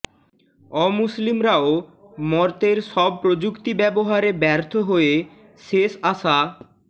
অমুসলিমরাও মর্ত্যের সব প্রযুক্তি ব্যবহারে ব্যর্থ হয়ে শেষ আশা